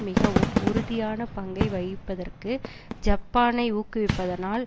மிகவும் உறுதியான பங்கை வகிப்பதற்கு ஜப்பானை ஊக்குவிப்பதனால்